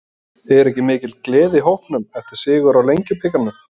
Er ekki mikil gleði í hópnum eftir sigur í Lengjubikarnum?